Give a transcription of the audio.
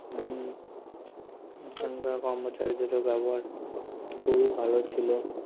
হম সেখানের কর্মচারীদের ব্যবহার খুবই ভালো ছিলো